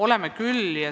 Oleme küll.